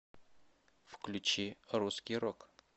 включи русский рок